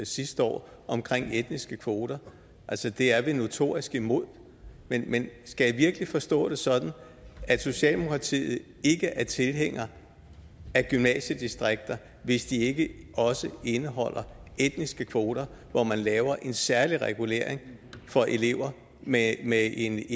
sidste år om etniske kvoter altså det er vi notorisk imod men skal jeg virkelig forstå det sådan at socialdemokratiet ikke er tilhænger af gymnasiedistrikter hvis de ikke også indeholder etniske kvoter hvor man laver en særlig regulering for elever med med en